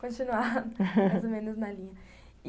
Vamos continuar, mais ou menos, na linha.